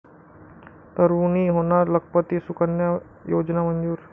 तरूणी होणार लखपती, सुकन्या योजना मंजूर